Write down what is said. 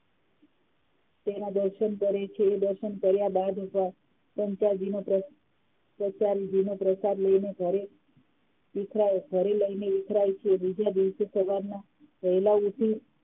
તેના દર્શન કરે છે દર્શન કર્યા બાદ પંચાજીનો પ્રસ પંચાજીનો પ્રસાદ લઈને ઘરે લઈ ઘરે લઈને ઈખરાય છે બીજા દિવસે સવારમાં વહેલા ઉઠી